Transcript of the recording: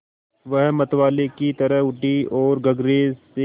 वह मतवाले की तरह उठी ओर गगरे से